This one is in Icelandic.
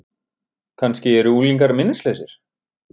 Kannski eru unglingar minnislausir?